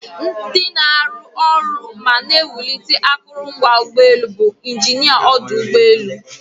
Ndị na-arụ arụ ma na-ewulite akụrụngwa ụgbọelu bụ injinia ọdụ ụgbọelu.